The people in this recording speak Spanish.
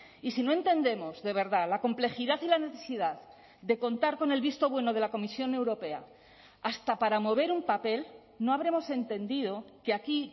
y si no entendemos de verdad la complejidad y la necesidad de contar con el visto bueno de la comisión europea hasta para mover un papel no habremos entendido que aquí